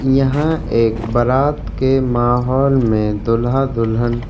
यहां एक बारात के माहौल में दूल्हा दुल्हन--